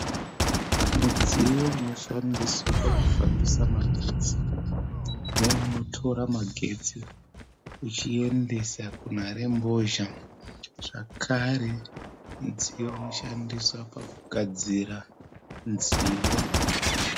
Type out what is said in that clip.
Mudziyo unoshandiswa pakufambisa magetsi neunotora magetsi uchiendesa kunharembozha. Zvakare mudziyo unoshandiswa pakugadzira nziyo.